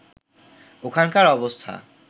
ওখানকার অবস্থা